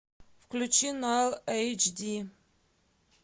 включи на эйч ди